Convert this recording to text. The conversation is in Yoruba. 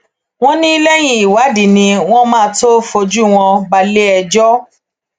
wọn ní lẹyìn ìwádìí ni wọn máa tóó fojú wọn balẹẹjọ